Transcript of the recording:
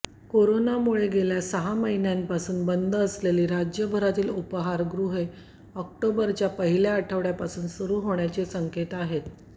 कोरोनामुळे गेल्या सहा महिन्यांपासून बंद असलेली राज्यभरातील उपाहारगृहे ऑक्टोबरच्या पहिल्या आठवड्यापासून सुरू होण्याचे संकेत आहेत